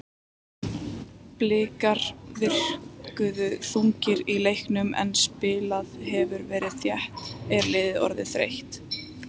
Blikar virkuðu þungir í leiknum en spilað hefur verið þétt, er liðið orðið þreytt?